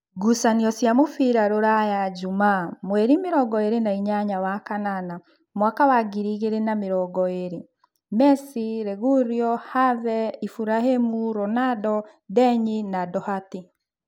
Ngucanio cia mũbira Ruraya Jumaa mweri mĩrongoĩrĩ nainyanya wakanana mwaka wa ngiri igĩrĩ na namĩrongoĩrĩ: Mesi, Reguiro, Have, Iburahĩmi, Ronando, Ndeni, Ndohati